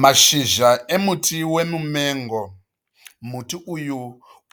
Mashizha emuti wemumengo, muti uyu